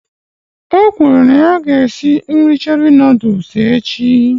O kwuru na ya ga-esi nri Cherie Nụ́dúls echi